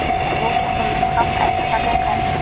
Bu gapimiz ham ayni haqiqat!